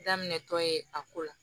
Daminɛtɔ ye a ko la